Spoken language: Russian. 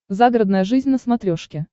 загородная жизнь на смотрешке